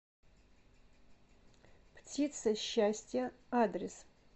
птица счастья адрес